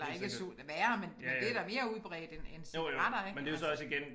Eller ikke snus værre men men det da mere udbredt end end cigaretter ik altså